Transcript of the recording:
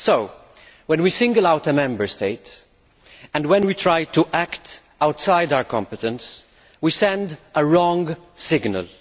So when we single out a Member State, and when we try to act outside our competence, we send a wrong signal.